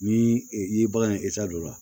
Ni i ye bagan ye don la